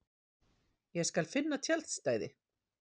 Ég skal finna tjaldstæði